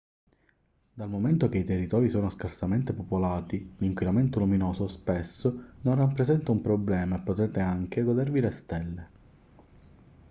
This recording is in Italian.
dal momento che i territori sono scarsamente popolati l'inquinamento luminoso spesso non rappresenta un problema e potrete anche godervi le stelle